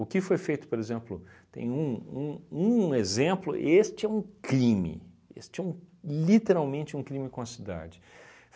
O que foi feito, por exemplo, tem um um um exemplo, este é um crime, este é um literalmente um crime com a cidade.